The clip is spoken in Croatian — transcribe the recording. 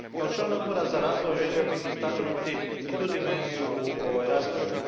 Kao član Odbora za razvoj želio bih istaknuti i tu dimenziju u ovoj raspravi.